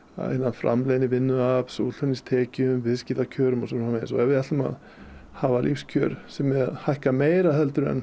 framleiðni vinnuafls útflutningstekjum viðskiptakjörum og svo framvegis og ef við ætlum að hafa lífskjör sem hækka meira heldur en